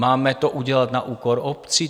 Máme to udělat na úkor obcí?